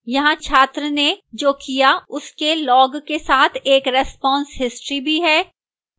यहां छात्र ने जो किया उसके log के साथ एक response history भी है